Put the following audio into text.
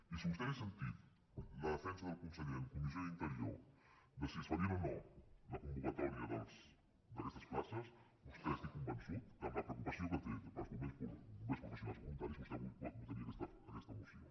i si vostè hagués sentit la defensa del conseller en comissió d’interior de si es faria o no la convocatòria d’aquestes places vostè n’estic convençut que amb la preocupació que té per als bombers professionals i voluntaris vostè avui votaria aquesta moció